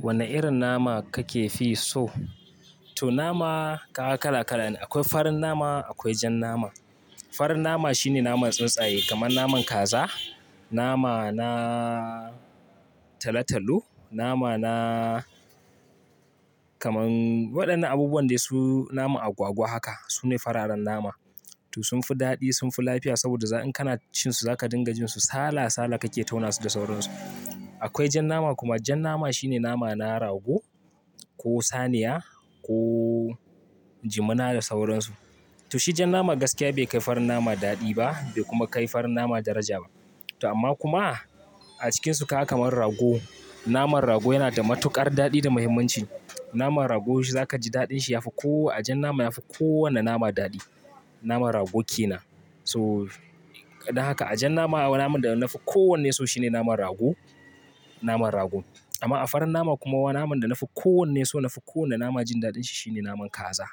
Wane irin nama kake fi so? To nama kaga kala kala ne. Akwai farin nama akwai jan nama. Farin nama shine naman tsuntsaye kamar naman kaza, nama na talo-talo, nama na kamar waɗannan abubuwan dai su nama agwagwa haka. Su ne fararen nama. To sun fi daɗi, sun fi lafiya saboda in kana cin su zaka dinga jin su sala sala kake tauna su da sauran su. Akwai jan nama kuma. Jan nama shine nama na rago ko saniya ko jimina da sauran su. To shi jan nama gaskiya bai kai farin nama daɗi ba bai kuma kai farin nama daraja ba. To amma kuma a cikinsu kaga kamar rago, naman rago yana da matuƙar daɗi da muhimmanci. Naman rago zaka ji daɗin shi yafi ko-- ajan nama yafi kowane nama daɗi. Naman rago kenan. So, don haka ajan nama naman da na fi kowanne so shine naman rago, naman rago. Amma a farin nama kuma wa naman da nafi kowanne so nafi kowane nama jin daɗin shi shine naman kaza.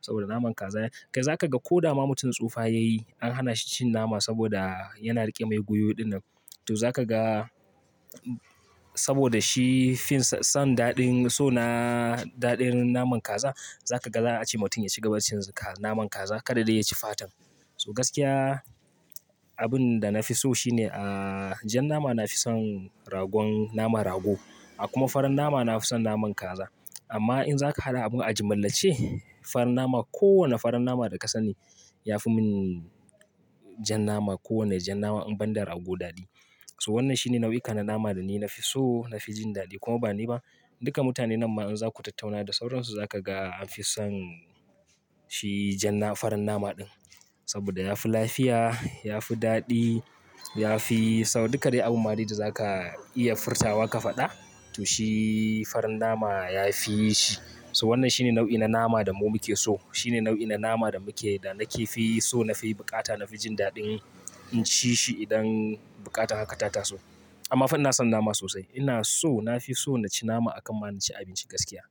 Saboda naman kaza, kai zaka ga ko dama mutum tsufa yayi an hana shi cin nama saboda yana riƙe mai gwiwo dinnan. To zaka ga saboda shi fin san daɗin so na daɗin naman kaza, zaka ga za a ce mutum ya cigaba da cin naman kaza kaɗada ya ci fatan. So gaskiya abin da nafi so shine, ah, jan nama na fi son ragon naman rago. A kuma farin nama nafi son naman kaza. Amma in zaka hada abin ajimillance, farin nama kowane farin nama da ka sani yafi min jan nama ko wane jan nama in banda rago daɗi. So wannan shine nau'ikan na nama da ni nafi so, nafi jin daɗi. Kuma bani ba, duka mutane nan ma in zaku tattauna da sauransu zaka ga anfi son shi jan na-- farin nama ɗin. Saboda yafi lafiya, yafi daɗi, yafi-- saboda duka dai abin da ma dai zaka iya furtawa ka faɗa to shi farin nama ya fi shi. So wannan shine nau'i na nama da mu muke so. Shine nau'i na nama da muke da nake fi so nafi buƙata nafi jin daɗin in ci shi idan buƙata haka ta taso. Amma fa ina son nama sosai. Ina so nafi so na ci nama a kan ma naci abinci gaskiya.